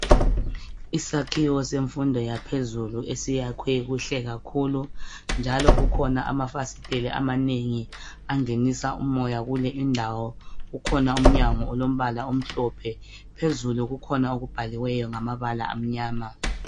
Isakhiwo semfundo yaphezulu esiyakhwe kuhle kakhulu, njalo kukhona amafasiteli amanengi angenisa umoya kule indawo. Kukhona umnyango olombala omhlophe. Phezulu kukhona okubhaliweyo ngamabala amnyama.